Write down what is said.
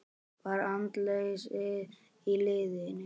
Var andleysi í liðinu?